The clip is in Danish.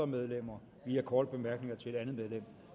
medlemmer via korte bemærkninger til et andet medlem